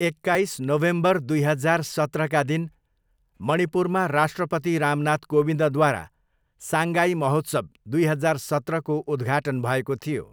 एक्काइस नोभेम्बर दुई हजार सत्रका दिन मणिपुरमा राष्ट्रपति रामनाथ कोविन्दद्वारा साङ्गाई महोत्सव दुई हजार सत्रको उद्घाटन भएको थियो।